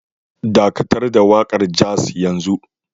Dakatar da waƙar jazz yanzu